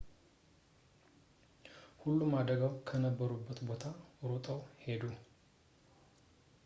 ሁሉም አደጋው ከነበረበት ቦታ ሮጠው ሄዱ